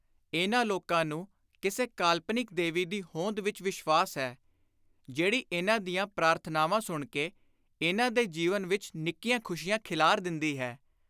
ਇਨ੍ਹਾਂ ਲੋਕਾਂ ਨੂੰ ਕਿਸੇ ਕਾਲਪਨਿਕ ਦੇਵੀ ਦੀ ਹੋਂਦ ਵਿਚ ਵਿਸ਼ਵਾਸ ਹੈ, ਜਿਹੜੀ ਇਨ੍ਹਾਂ ਦੀਆਂ ਪ੍ਰਾਰਥਨਾਵਾਂ ਸੁਣ ਕੇ ਇਨ੍ਹਾਂ ਦੇ ਜੀਵਨ ਵਿਚ ਨਿੱਕੀਆਂ ਖ਼ੁਸ਼ੀਆਂ ਖਿਲਾਰ ਦਿੰਦੀ ਹੈ।